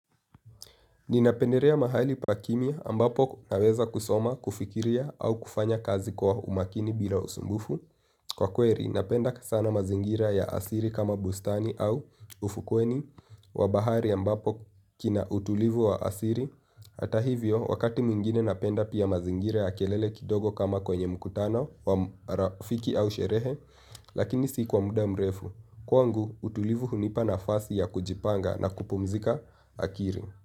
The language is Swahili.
Ninapendelea mahali pa kimya ambapo naweza kusoma, kufikiria au kufanya kazi kwa umakini bila usumbufu. Kwa kweli, napenda sana mazingira ya asili kama bustani au ufukweni. Wa bahari ambapo kina utulivu wa asili. Hata hivyo, wakati mwingine napenda pia mazingira ya kelele kidogo kama kwenye mkutano wa rafiki au sherehe. Lakini si kwa muda mrefu. Kwangu, utulivu hunipa nafasi ya kujipanga na kupumzika akili.